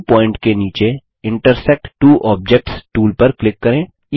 new point के नीचे intersect two objects tool पर क्लिक करें